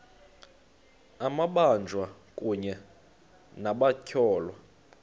amabanjwa kunye nabatyholwa